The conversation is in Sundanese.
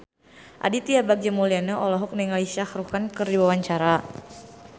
Aditya Bagja Mulyana olohok ningali Shah Rukh Khan keur diwawancara